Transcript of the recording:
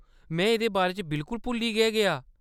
में एह्‌‌‌दे बारे च बिल्कुल भुल्ली गै गेआ।